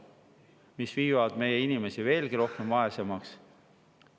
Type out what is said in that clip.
See meie inimesi veelgi vaesemaks.